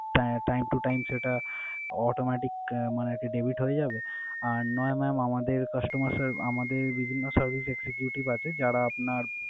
Ah Time to time সেটা autometic মানে আরকি debit হয়ে যাবে। আর নয় mam আমাদের customer serv~ আমাদের বিভিন্ন service executive আছে যারা আপনার,